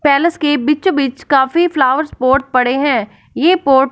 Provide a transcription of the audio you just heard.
palace के बीचो बीच काफी फ्लावर्स पॉट पड़े हैं ये पोट --